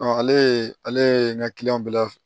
ale ye n ka kiliyan bɛɛ la